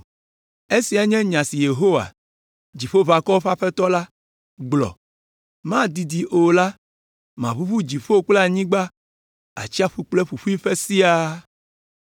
“Esiae nye nya si Yehowa, Dziƒoʋakɔwo ƒe Aƒetɔ la, gblɔ, ‘Madidi o la, maʋuʋu dziƒo kple anyigba, atsiaƒu kple ƒuƒuiƒe siaa.